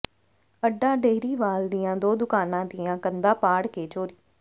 ਅੱਡਾ ਡੇਹਰੀਵਾਲ ਦੀਆਂ ਦੋ ਦੁਕਾਨਾਂ ਦੀਆਂ ਕੰਧਾਂ ਪਾੜ ਕੇ ਚੋਰੀ